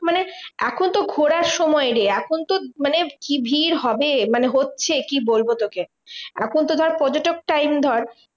মানে এখন তো ঘোড়ার সময় রে, এখন তো মানে কি ভিড় হবে? মানে হচ্ছে কি বলবো তোকে? এখন তো ধর পর্যটক time ধর